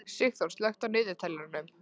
Sigþór, slökktu á niðurteljaranum.